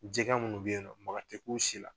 Jɛgɛ minnu bɛ yen nɔ maga tɛ k'u si la